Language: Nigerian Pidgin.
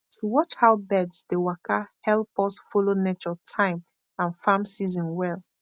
to watch how birds dey waka help us follow nature time and farm season well